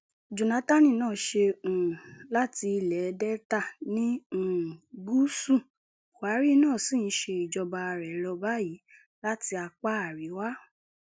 jonathan náà ṣe um láti ilẹ delta ní um gúúsù buhari náà sì ń ṣe ìjọba rẹ lọ báyìí láti apá àríwá